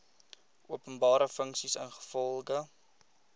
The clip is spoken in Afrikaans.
openbare funksie ingevolge